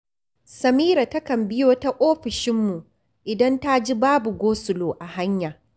Samira takan biyo ta ofishinmu idan ta ji babu gosulo a hanya